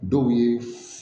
Dɔw ye